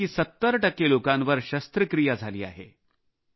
यापैकी 70 टक्के लोकांवर शस्त्रक्रिया झाली आहेत